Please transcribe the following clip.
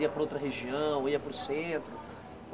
Ia para outra região, ia para o centro?